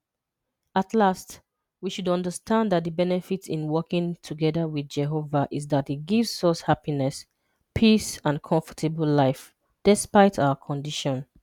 At last, we should understand that the benefit in working together with Jehova is that it gives us happiness, peace and comfortable life, despite our condition.